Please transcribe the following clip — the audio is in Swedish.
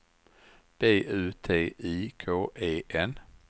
B U T I K E N